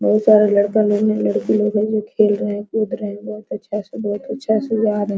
बहुत सारा लड़का लोग हैं लड़की लोग हैं जो खेल रहे हैं कूद रहे हैं बहुत अच्छा से बहुत अच्छा से जा रहे है।